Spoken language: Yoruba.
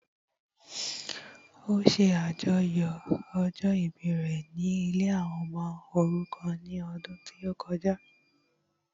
Ó ṣe àjọyọ̀ ọjọ́ ìbí rẹ ní ilée àwọn ọmọ òrukàn ní ọdún tí ó kọjá